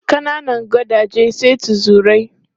Kananan gadaje sai tuzurai.